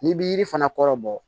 N'i bi yiri fana kɔrɔ bɔ